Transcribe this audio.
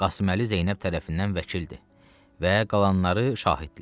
Qasım Əli Zeynəb tərəfindən vəkildir və qalanları şahiddirlər.